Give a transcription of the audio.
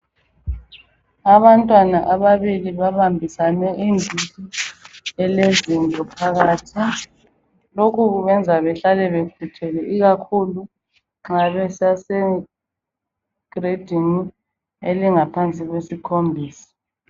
Abantwana ababili babambisane iditshi elozinto phakathi. Lokhu kubeyenza behlale bekhuthele Ikakhulu nxa besase giledini elingaphansi kwelesikhombisa.